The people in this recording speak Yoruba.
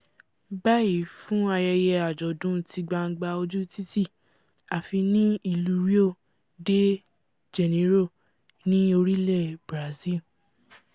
báyìí fún ayẹyẹ àjọ̀dún ti gbangba ojú títì àfi ní ìlú rio de janeiro ni orílẹ̀ brasil